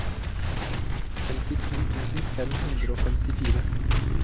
femtito tusen fem hundre og femtifire